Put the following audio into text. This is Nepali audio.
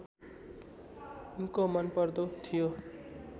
उनको मनपर्दो थियो